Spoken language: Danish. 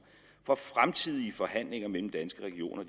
for fremtidige forhandlinger mellem danske regioner og